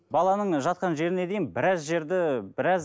баланың жатқан жеріне дейін біраз жерді